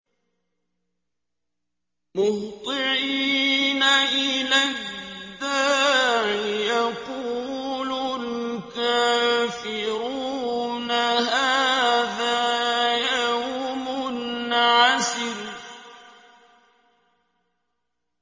مُّهْطِعِينَ إِلَى الدَّاعِ ۖ يَقُولُ الْكَافِرُونَ هَٰذَا يَوْمٌ عَسِرٌ